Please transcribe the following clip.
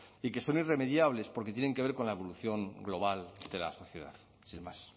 y que son irremediables porque tienen que ver con la evolución global de la sociedad sin más